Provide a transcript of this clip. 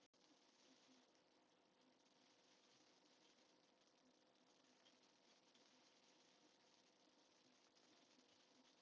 Helga: En hvernig er að kenna í gömlu bæjarskrifstofunni?